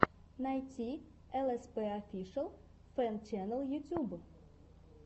найти элэспэ офишэл фэн чэнэл ютюб